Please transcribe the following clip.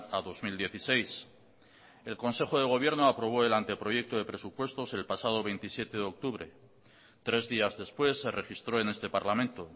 a dos mil dieciséis el consejo de gobierno aprobó el anteproyecto de presupuestos el pasado veintisiete de octubre tres días después se registró en este parlamento